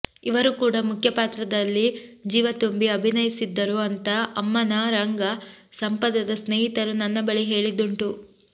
ಇವರೂ ಕೂಡ ಮುಖ್ಯ ಪಾತ್ರದಲ್ಲಿ ಜೀವ ತುಂಬಿ ಅಭಿನಯಿಸಿದ್ದರು ಅಂತ ಅಮ್ಮನ ರಂಗ ಸಂಪದದ ಸ್ನೇಹಿತರು ನನ್ನ ಬಳಿ ಹೇಳಿದ್ದುಂಟು